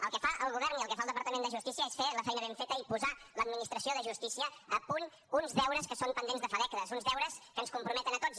el que fa el govern i el que fa el departament de justícia és fer la feina ben feta i posar l’administració de justícia a punt uns deures que estan pendents de fa dècades uns deures que ens comprometen a tots